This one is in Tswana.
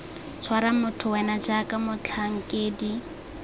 tshwara motho wena jaaka motlhankedi